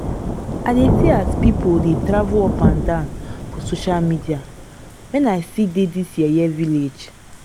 i dey see as pipu dey travel up and down for social media wen i still dey dis yeye village.